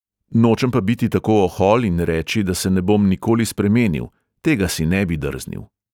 “nočem pa biti tako ohol in reči, da se ne bom nikoli spremenil, tega si ne bi drznil!”